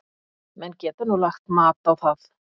Menn geta nú lagt mat á það.